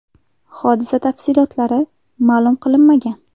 Hodisa tafsilotlari ma’lum qilinmagan.